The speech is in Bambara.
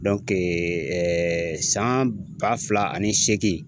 ɛɛ san ba fila ani seegin